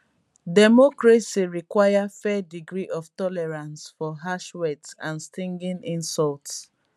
democracy require fair degree of tolerance for harsh words and stinging insults